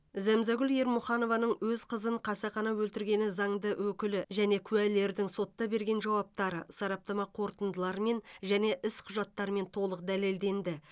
зәмзагүл ермұханованың өз қызын қасақана өлтіргені заңды өкілі мен куәлердің сотта берген жауаптары сараптама қорытындыларымен және іс құжаттарымен толық дәлелденді